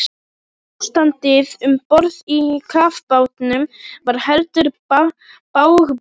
Ástandið um borð í kafbátnum var heldur bágborið.